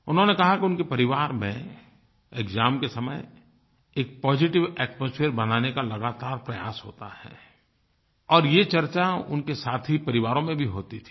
उन्होंने कहा कि उनके परिवार में एक्साम के समय एक पॉजिटिव एटमॉस्फियर बनाने का लगातार प्रयास होता है और ये चर्चा उनके साथी परिवारों में भी होती थी